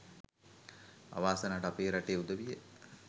අවාසනාවට අපේ රටේ උදවිය